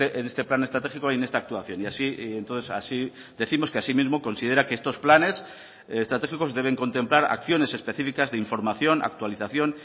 en este plan estratégico y en esta actuación y así entonces así décimos que asimismo considera que estos planes estratégicos deben contemplar acciones específicas de información actualización